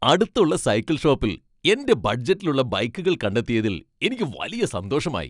അടുത്തുള്ള സൈക്കിൾ ഷോപ്പിൽ എന്റെ ബഡ്ജറ്റിലിലുള്ള ബൈക്കുകൾ കണ്ടെത്തിയതിൽ എനിക്ക് വലിയ സന്തോഷമായി.